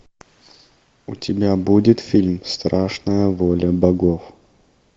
у тебя будет фильм страшная воля богов